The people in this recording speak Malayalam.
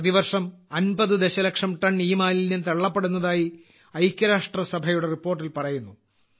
പ്രതിവർഷം 50 ദശലക്ഷം ടൺ ഇമാലിന്യം തള്ളപ്പെടുന്നതായി ഐക്യരാഷ്ട്രസഭയുടെ റിപ്പോർട്ടിൽ പറയുന്നു